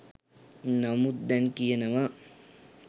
නමුත් දැන් කියනවා